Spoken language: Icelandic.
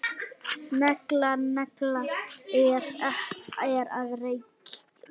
Negla nagla er að reykja.